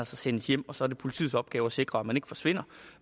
sendes hjem og så er det politiets opgave at sikre at man ikke forsvinder